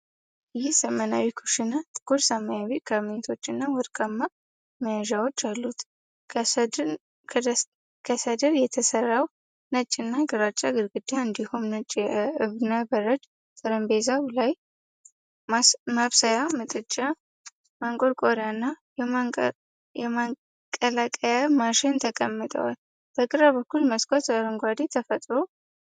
ይህ ዘመናዊ ኩሽና ጥቁር ሰማያዊ ካቢኔቶች እና ወርቃማ መያዣዎች አሉት። ከሰድር የተሰራው ነጭ እና ግራጫ ግድግዳ እንዲሁም ነጭ የእብነ በረድ ጠረጴዛው ላይ ማብሰያ ምድጃ፣ ማንቆርቆሪያ እና የማቀላቀያ ማሽን ተቀምጠዋል። በግራ በኩል መስኮት አረንጓዴ ተፈጥሮን ያሳያል።